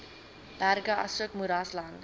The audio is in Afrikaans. berge asook moeraslande